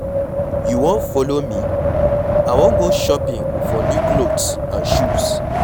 You wan follow me? I wan go shopping for new cloths and shoes.